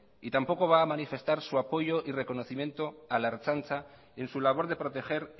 y tampoco va a manifestar su apoyo y reconocimiento a la ertzaintza en su labor de proteger